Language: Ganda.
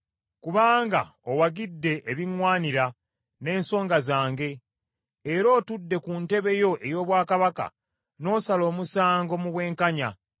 Kubanga owagidde ebiŋŋwanira, n’ensonga zange; era otudde ku ntebe yo ey’obwakabaka n’osala omusango mu bwenkanya.